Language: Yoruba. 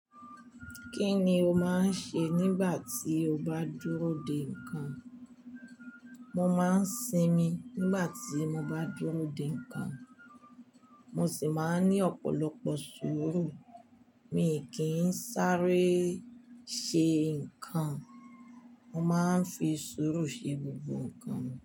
Kí ni o máa ń ṣe nígbà tí o bá dúró de nǹkan? Mo máa ń sinmi nígbà tí mo bá dúró de nǹkan, mo sì máa ń ní ọ̀pọ̀lọpọ̀ sùúrù. Mi kì í sáré ṣe nǹkan. Mo máa ń fi sùúrù ṣe gbogbo nǹkan mi.